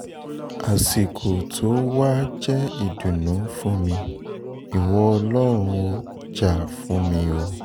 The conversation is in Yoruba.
àsìkò tó wàá jẹ́ ìdùnnú fún mi ìwọ ọlọ́run ò jà fún mi o